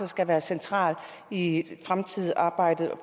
skal være centrale i det fremtidige arbejde